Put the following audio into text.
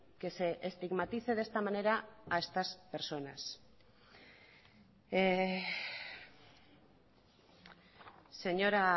que se estigmatice de esta manera a estas personas señora